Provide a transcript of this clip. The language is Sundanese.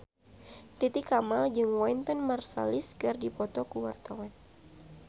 Titi Kamal jeung Wynton Marsalis keur dipoto ku wartawan